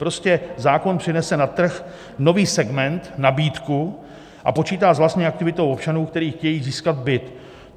Prostě zákon přinese na trh nový segment, nabídku a počítá s vlastní aktivitou občanů, kteří chtějí získat byt.